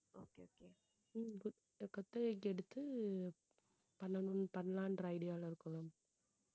உம் இப்போ குத்தகைக்கு எடுத்து, பண்ணணும் பண்ணலான்ற idea ல இருக்கோம்